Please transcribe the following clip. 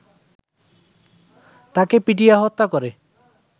তাকে পিটিয়ে হত্যা করে